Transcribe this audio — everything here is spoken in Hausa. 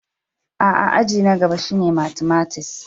A'a, aji na gaba shine matimatis.